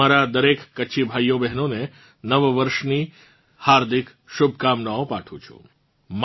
હું મારા દરેક કચ્છી ભાઇઓબહેનોને નવાવર્ષની હાર્દિક શુભકામનાઓ પાઠવું છું